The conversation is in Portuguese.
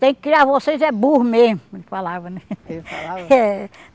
Tem que criar vocês é burro mesmo, ele falava né? Ele falava? É.